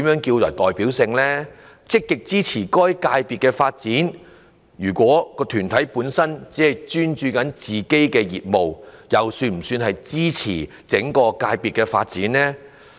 至於"積極支持該界別的發展"，如果團體本身只專注於自己的業務，又是否屬於支持整個界別的發展？